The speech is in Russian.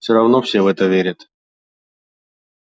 всё равно все в это верят